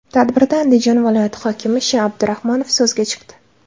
Tadbirda Andijon viloyati hokimi Sh.Abdurahmonov so‘zga chiqdi.